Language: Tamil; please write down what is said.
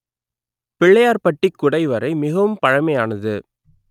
பிள்ளையார்பட்டிக் குடைவரை மிகவும் பழமையானது